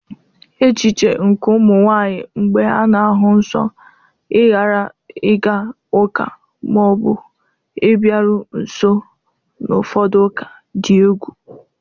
echiche nke ụmụ nwanyị mgbe ha na-ahụ nsọ ịghara ịga ụka ma ọ bụ ịbịaru nso n'ụfọdụ ụka dị egwu.